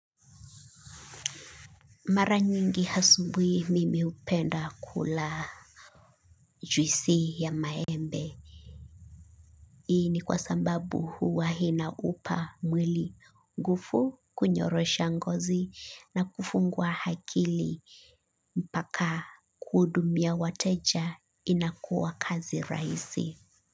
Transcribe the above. Mara nyingi asubui mimi hupenda kula juisi ya maembe. Ii ni kwa sambabu huwa hinaupa mwili ngufu kunyorosha ngozi na kufunguwa hakili mpaka kudumia wateja inakuwa kazi raisi.